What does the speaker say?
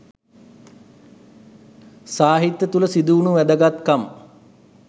සාහිත්‍ය තුළ සිදුවුණු වැදගත්කම්